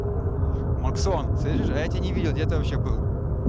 максон слышишь а я тебя не видел где ты вообще был